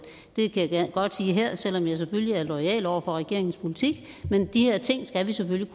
godt sige her selv om jeg selvfølgelig er loyal over for regeringens politik men de her ting skal vi selvfølgelig